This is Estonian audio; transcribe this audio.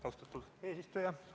Austatud eesistuja!